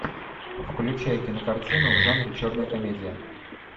включай кинокартину в жанре черная комедия